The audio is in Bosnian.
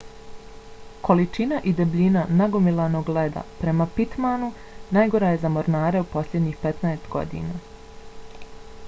količina i debljina nagomilanog leda prema pittmanu najgora je za mornare u posljednjih 15 godina